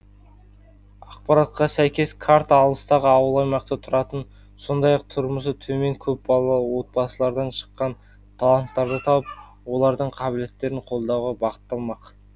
ақпаратқа сәйкес карта алыстағы ауыл аймақта тұратын сондай ақ тұрмысы төмен көпбалалы отбасылардан шыққан таланттарды тауып олардың қабілеттерін қолдауға бағытталмақ